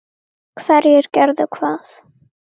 Hverjir gerðu hvað?